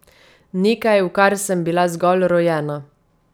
Nekaj, v kar sem bila zgolj rojena.